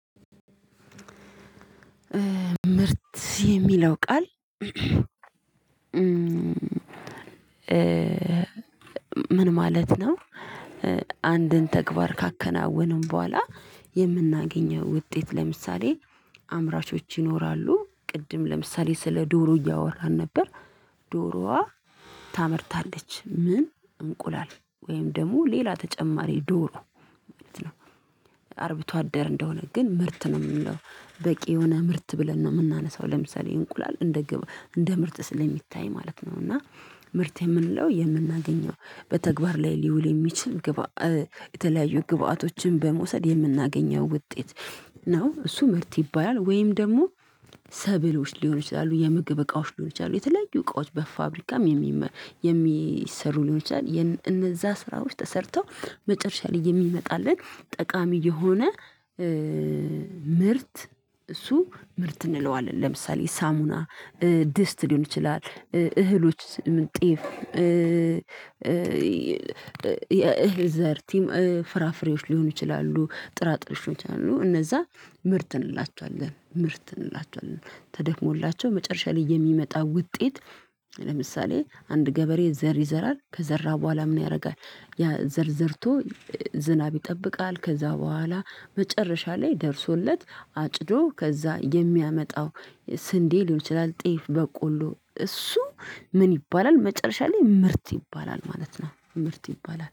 ምርት የሚለው ቃል ምን ማለት ነው? አንድን ተግባር ካከናወንን በኋላ የምናገኘው ውጤት ለምሳሌ አምራቾች ይኖራሉ ቅድም ለምሳሌ ስለ ዶሮ እያወራን ነበር። ዶሮዋ ታመርታለች ምን እንቁላል ወይም ደግሞ ሌላ ተጨማሪ ዶሮ ማለት ነው። አርብቶ አደር እንደሆነ ግን ምርት ነው ምንለው በቂ የሆነ ምርት ብለን ነው የምናነሳው ለምሳሌ እንቁላል እንደ ግብ እንደ ምርት ስለሚታይ ማለት ነው። እና ምርት የምንለው የምናገኘው በተግባር ላይ ሊውል የሚችል የተለያዩ ግብአቶችን በመውሰድ የምናገኘው ውጤት ነው። እሱ ምርት ይባላል። ወይም ደግሞ። ሰብሎች ሊሆን ይችላሉ የምግብ እቃዎች ሊሆን ይችላሉ የተለዩ እቃዎች በፋብሪካም የሚሰሩ ሊሆን ይችላል። እነዛ ስራዎች ተሰርተው መጨረሻ ላይ የሚመጣልን ጠቃሚ የሆነ ምርት እሱ ምርት እንለዋለን። ለምሳሌ ሳሙና ድስት ሊሆን ይችላል እህሎችስ? ምን ጤፍ የእህል ዘር ቲም ፍራፍሬዎች ሊሆኑ ይችላሉ ጥራጥሬዎች ሊሆኑ ይችላሉ። እነዛ ምርት እንላችኋለን ምርት እንላችኋለን ተደክሞላቸው መጨረሻ ላይ የሚመጣ ውጤት። ለምሳሌ አንድ ገበሬ ዘር ይዘራል ከዘራ በኋላ ምን ያረጋል? ያ ዘር ዘርቶ ዝናብ ይጠብቃል ከዛ በኋላ መጨረሻ ላይ ደርሶለት አጭዶ ከዛ የሚያመጣው ስንዴ ሊሆን ይችላል። ጤፍ በቆሎ እሱ ምን ይባላል መጨረሻ ላይ ምርት ይባላል ማለት ነው። ምርት ይባላል